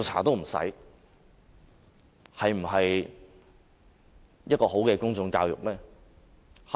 這是否好的公眾教育呢？